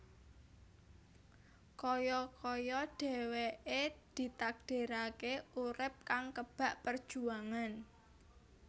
Kaya kaya dhèwèké ditakdiraké urip kang kebak perjuangan